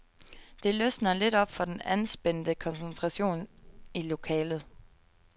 Det løsner lidt op for den anspændte koncentration i lokalet.